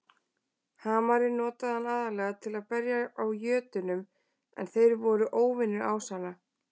Hamarinn notaði hann aðallega til að berja á jötnum en þeir voru óvinir ásanna.